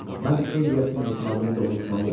Mən ev yəsinə etimadını doğrultmalıyam.